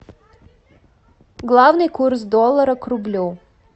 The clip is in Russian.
главный курс доллара к рублю